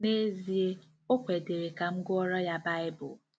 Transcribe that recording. N'ezie, o kwedịrị ka m gụọrọ ya Baịbụl.